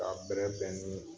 A bɛrɛbɛn ni